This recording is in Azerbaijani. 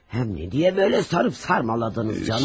Həm nə deyə belə sarıb sarmaladınız canım?